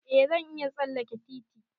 Eh zan iya tsalleke titi.